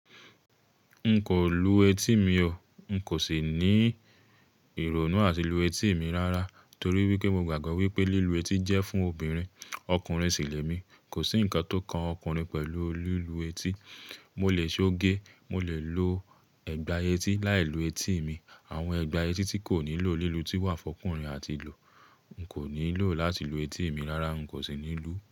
N kò lù etí mi o. N kò sì ní ìrònú àti lù etí mi rárá torí wípé mo gbàgbọ́ wípé lílù etí jẹ́ fún obìnrin, ọkùnrin sì lẹ mi. Kò sí ǹkan tó kan ọkùnrin pẹ̀lú lílù etí. Mo lè ṣoge, mo lè lo ẹ̀gbà etí láìlù etí mi. Àwọn ẹgbà etí tí kò nílò lílù eti wà fún ọkùnrin àti lo. N kò nílò láti lù etí mi rárá. N kò sì ní lù.